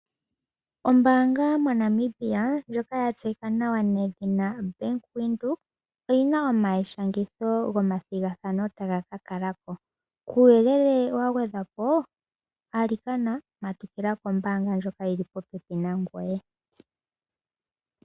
Ombanga moNamibia ndjoka ya tseyika nawa nedhina Bank Windhoek oyina omayishangitho gomathigathano taga ka kalako. Kuuyelele wa gwedhwapo alikana matukila kombanga ndjoka yili popepi nangoye.